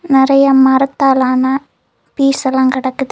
நறைய மரத்தாலான பீஸ் எல்லா கிடக்குது.